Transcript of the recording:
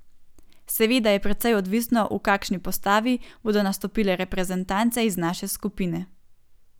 Seveda je precej odvisno v kakšni postavi bodo nastopile reprezentance iz naše skupine.